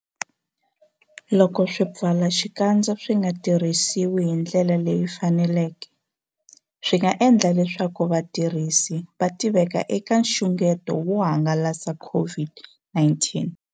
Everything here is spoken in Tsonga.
Loko swipfalaxikandza swi nga tirhisiwi hi ndlela leyi faneleke, swi nga endla leswaku vatirhisi va tiveka eka nxungeto wo hangalasa COVID-19.